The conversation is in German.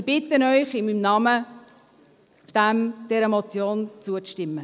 Ich bitte Sie in meinem Namen, dieser Motion zuzustimmen.